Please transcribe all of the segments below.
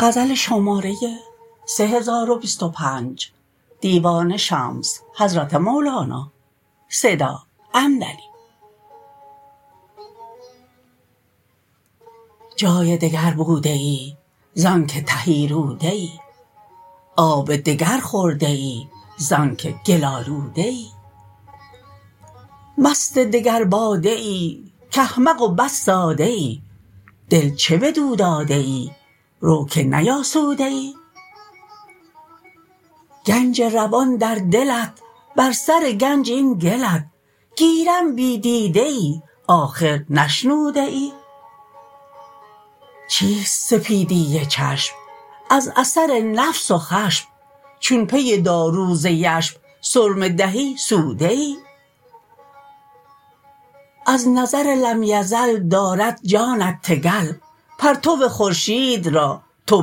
جای دگر بوده ای زانک تهی روده ای آب دگر خورده ای زانک گل آلوده ای مست دگر باده ای کاحمق و بس ساده ای دل چه بدو داده ای رو که نیاسوده ای گنج روان در دلت بر سر گنج این گلت گیرم بی دیده ای آخر نشنوده ای چیست سپیدی چشم از اثر نفس و خشم چون پی دارو ز یشم سرمه دهی سوده ای از نظر لم یزل دارد جانت تگل پرتو خورشید را تو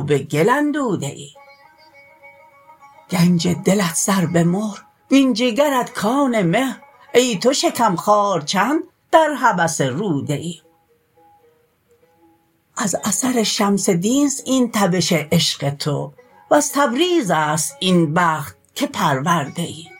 به گل اندوده ای گنج دلت سر به مهر وین جگرت کان مهر ای تو شکم خوار چند در هوس روده ای از اثر شمس دینست این تبش عشق تو وز تبریزست این بخت که پرورده ای